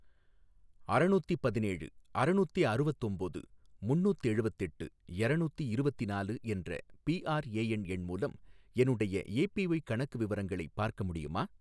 அறநூத்தி பதினேழு ,அறநூத்தி அறுவத்தொம்போது ,முன்னூத்தெழுவத்தெட்டு, எரநூத்தி இரவத்தினாலு என்ற பிஆர்ஏஎன் எண் மூலம் என்னுடைய ஏபிஒய் கணக்கு விவரங்களை பார்க்க முடியுமா?